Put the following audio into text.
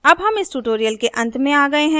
अब हम इस tutorial के अंत में आ गये हैं